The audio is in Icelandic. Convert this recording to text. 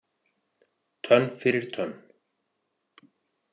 Tönn fyrir tönn.